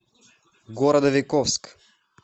городовиковск